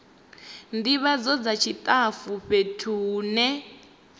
ndivhadzo dza tshitafu fhethu hune